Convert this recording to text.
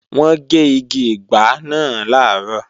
Wọ́n gé igi ìgbá náà làárọ̀